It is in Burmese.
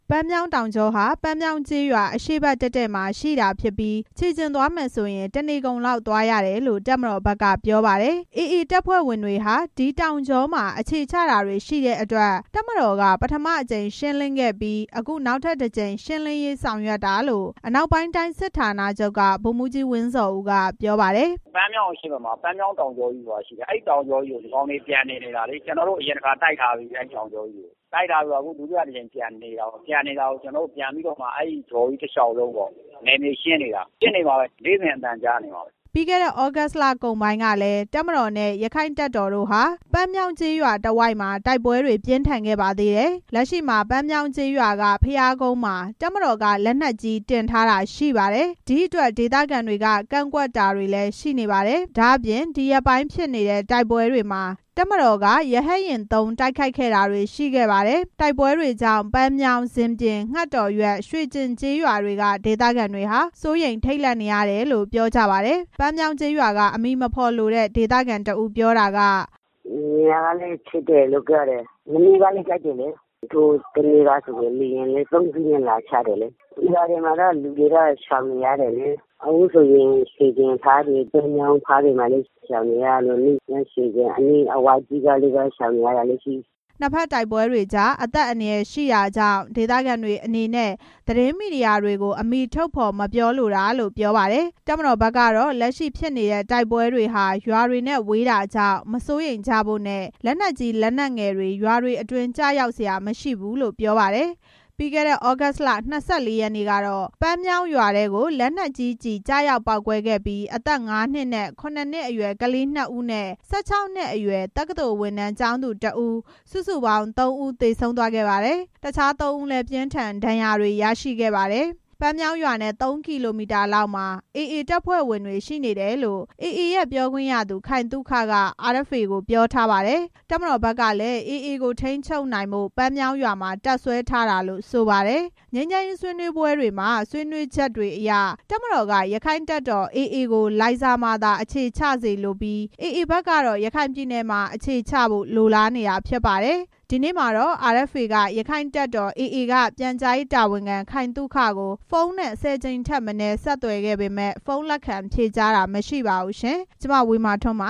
ပန်းမြောင်းတောင်ကြောဟာ ပန်းမြောင်းကျေးရွာ အရှေ့ဘက်တည့်တည့်မှာ ရှိတာဖြစ်ပြီး ခြေလျင်သွားမယ်ဆိုရင် တစ်နေကုန်လောက် သွားရတယ်လို့ တပ်မတော်ဘက်ကပြောပါတယ်။ AA တပ်ဖွဲ့ဝင်တွေဟာ အဲ့ဒီတောင်ကြောမှာ အခြေချတာတွေရှိတဲ့အတွက် တပ်မတော်က ပထမအကြိမ် ရှင်းလင်းခဲ့ပြီး အခုနောက်ထပ်တစ်ကြိမ် ရှင်းလင်းရေးဆောင်ရွက်တာလို့ အနောက်ပိုင်းတိုင်း စစ်ဌာနချုပ်က ဗိုလ်မှူးကြီး ဝင်းဇော်ဦးက ပြောပါတယ်။ "ပန်းမြောင်းအရှေ့ဘက်မှာ ပန်းမြောင်းတောင်ကြောကြီးဆိုတာရှိတယ်။ အဲတောင်ကြောကြီးကို ဒီကောင်တွေ ပြန်နေနေတာ။ ကျနော်တို့ တိုက်ထားပြီးပြီ အဲ့နေရာကို အခုဒုတိယအကြိမ် ပြန်နေနေတာ။ အခုပြန်နေနေတာကို ကျနော်တို့ အဲ့ကြောကြီးတစ်လျှောက်လုံးကို နယ်မြေရှင်းနေတာ။ ဖြစ်နေမှာပဲ နေ့စဉ်အသံကြားနေမှာ" ပြီးခဲ့တဲ့ သြဂုတ်လကုန်ပိုင်းကလည်း တပ်မတော်နဲ့ ရက္ခိုင့်တပ်တော်တို့ဟာ ပန်းမြောင်းကျေးရွာတစ်ဝိုက်မှာ တိုက်ပွဲတွေ ပြင်းထန်ခဲ့ပါသေးတယ်။ လက်ရှိမှာ ပန်းမြောင်းကျေးရွာက ဘုရားကုန်းမှာ တပ်မတော်က လက်နက်ကြီး တင်ထားတာရှိပါတယ်။ ဒီအတွက် ဒေသခံတွေက ကန့်ကွက်တာတွေ ရှိနေပါတယ်။ ဒါ့အပြင် ဒီရက်ပိုင်းဖြစ်နေတဲ့ တိုက်ပွဲတွေမှာ တပ်မတော်က ရဟတ်ယာဉ်သုံး တိုက်ခိုက်ခဲ့တာတွေ ရှိခဲ့ပါတယ်။ တိုက်ပွဲတွေကြောင့် ပန်းမြောင်း၊ ဇင်ပြင်၊ ငှက်တော်ရွက်၊ ရွှေကျင် ကျေးရွာတွေက ဒေသခံတွေဟာ စိုးရိမ် ထိတ်လန့်နေရတယ်လို့ ပြောကြပါတယ်။ ပန်းမြောင်းကျေးရွာက အမည်မဖော်လိုတဲ့ ဒေသခံတစ်ဦးပြောတာက "ညကလည်းဖြစ်တယ်။ မနေ့ကလည်း တိုက်တယ်။ ဟိုတနေ့ကဆိုလည်း လေယာဉ်နဲ့ သုံးစင်းလာချတယ်။ ရွာတွေမှာတော့ လူတွေက ရှောင်နေရတယ်လေ။ အခုဆိုရင် ရွှေကျင်ဘက်တွေ၊ ပန်းမြောင်းဘက်တွေမှာ လည်းရှောင်နေရတယ်။ ရွှေကျင်တစ်ဝိုက်က ရွာတွေမှာလည်း ရှောင်နေရတာတွေရှိတယ်" နှစ်ဘက်တိုက်ပွဲတွေကြား အသက်အန္တရာယ်ရှိတာကြောင့် ဒေသခံတွေအနေနဲ့ သတင်းမီဒီယာတွေကို အမည်ထုတ်ဖော်မပြောလိုတာလို့ ပြောပါတယ်။ တပ်မတော်ဘက်ကတော့ လက်ရှိဖြစ်နေတဲ့ တိုက်ပွဲတွေဟာ ရွာတွေနဲ့ ဝေးတာကြောင့် မစိုးရိမ်ကြဖို့နဲ့ လက်နက်ကြီး၊ လက်နက်ငယ်တွေ ရွာတွေအတွင်း ကျရောက်စရာမရှိဘူးလို့ ပြောပါတယ်။ ပြီးခဲ့တဲ့ သြဂုတ်လ ၂၄ ရက်နေ့ကတော့ နှစ်ဘက်တိုက်ပွဲတွေကြောင့် ပန်းမြောင်းရွာထဲ လက်နက်ကြီးကျည် ကျရောက်ပေါက်ကွဲခဲ့ပြီး အသက် (၅) နှစ်နဲ့ (၇) နှစ်အရွယ် ကလေး နှစ်ဦးနဲ့ ၁၆ နှစ်အရွယ် တက္ကသိုလ်ဝင်တန်းကျောင်းသူတစ်ဦး၊ စုစုပေါင်း သုံးဦး သေဆုံးသွားခဲ့ပါတယ်။ တခြား သုံးဦးလည်း ပြင်းထန်တဲ့ ဒဏ်ရာတွေ ရရှိခဲ့ပါတယ်။ ပန်းမြောင်းရွာနဲ့ သုံးကီလိုမီတာလောက်မှာ AA တပ်ဖွဲ့ဝင်တွေ ရှိနေတယ်လို့ AA ပြောခွင့်ရသူ ခိုင်သုခ က RFA ကို ပြောထားပါတယ်။ တပ်မတော်ဘက်ကလည်း AA ကို ထိန်းချုပ်နိုင်ဖို့ ပန်းမြောင်းရွာမှာ တပ်စွဲထားတာလို့ ဆိုပါတယ်။ ငြိမ်းချမ်းရေးဆွေးနွေးပွဲတွေမှာ ဆွေးနွေးချက်တွေအရ တပ်မတော်က ရက္ခိုင့်တပ်တော် AA ကို လိုင်ဇာမှာသာ အခြေချစေလိုပြီး AA ကတော့ ရခိုင်ပြည်နယ်မှာ အခြေချဖို့ လိုလားနေတာဖြစ်ပါတယ်။ ဒီနေ့မှာ RFA က ရက္ခိုင့်တပ်တော် AA က ပြန်ကြားရေးတာဝန်ခံ ခိုင်သုခကို ဖုန်းနဲ့ (၁၀) ကြိမ်ထက်မနည်း ဆက်သွယ်ခဲ့ပေမယ့် ဖုန်းလက်ခံဖြေကြားတာ မရှိပါဘူးရှင်။ (RFA သတင်းထောက် မဝေမာထွန်း